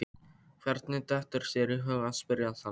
Hvernig dettur þér í hug að spyrja þannig?